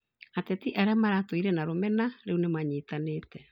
Ateti arĩa maratũire na rũmena rĩu nĩmanyitanĩte